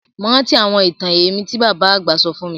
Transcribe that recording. Mo rántí àwọn itan ẹ̀mí ti baba àgbà sọ fun mi